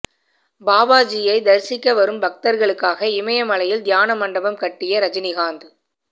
பாபாஜியை தரிசிக்க வரும் பக்தர்களுக்காக இமயமலையில் தியான மண்டபம் கட்டிய ரஜினிகாந்த்